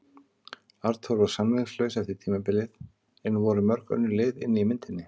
Arnþór var samningslaus eftir tímabilið en voru mörg önnur lið inni í myndinni?